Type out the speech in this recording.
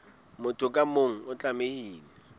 motho ka mong o tlamehile